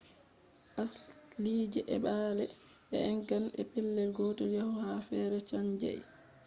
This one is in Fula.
asliije ee baa’le e eggan e pelel gotel yahugo ha fere chanjai